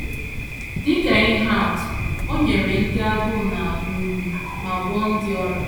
Dị ka ihe atụ, o nyere ndị agụụ na - agụ nri ma gwọọ ndị ọrịa.